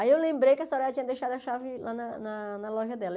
Aí eu lembrei que a senhoraa tinha deixado a chave lá na na loja dela.